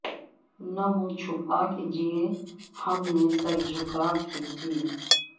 نہ منہ چھپا کے جئے ہم نہ سر جھکا کے جئے